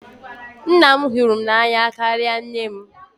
Nna m hụrụ m n'anya karịa nne m.